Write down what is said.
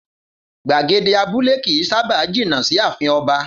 Gbagede abúlé kì í sábá jìnà sí ààfin o̩ba